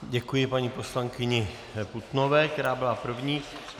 Děkuji paní poslankyni Putnové, která byla první.